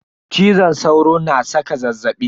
Cizon sauro na saka zazzaɓi.